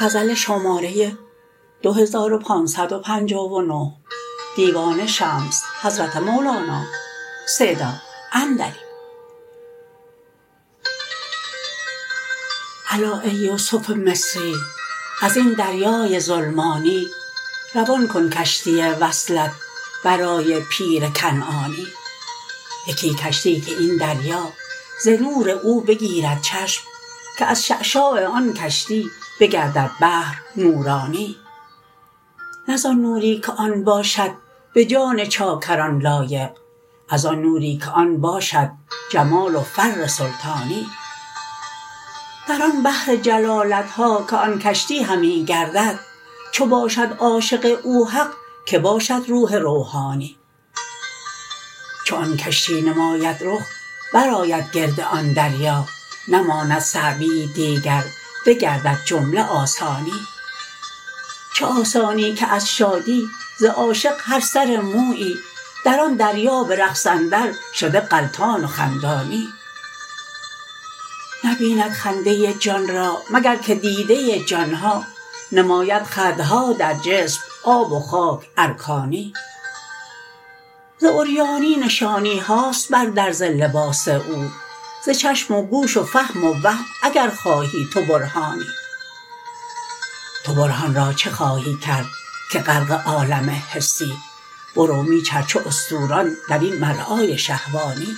الا ای یوسف مصری از این دریای ظلمانی روان کن کشتی وصلت برای پیر کنعانی یکی کشتی که این دریا ز نور او بگیرد چشم که از شعشاع آن کشتی بگردد بحر نورانی نه زان نوری که آن باشد به جان چاکران لایق از آن نوری که آن باشد جمال و فر سلطانی در آن بحر جلالت ها که آن کشتی همی گردد چو باشد عاشق او حق که باشد روح روحانی چو آن کشتی نماید رخ برآید گرد آن دریا نماند صعبیی دیگر بگردد جمله آسانی چه آسانی که از شادی ز عاشق هر سر مویی در آن دریا به رقص اندرشده غلطان و خندانی نبیند خنده جان را مگر که دیده جان ها نماید خدها در جسم آب و خاک ارکانی ز عریانی نشانی هاست بر درز لباس او ز چشم و گوش و فهم و وهم اگر خواهی تو برهانی تو برهان را چه خواهی کرد که غرق عالم حسی برو می چر چو استوران در این مرعای شهوانی